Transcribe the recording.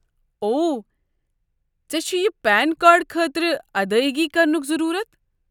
اوہ، ژےٚ چھُیہ پین کارڈ خٲطرٕ ادٲیگی کرنک ضروٗرَت؟